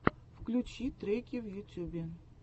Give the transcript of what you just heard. включи треки в ютюбе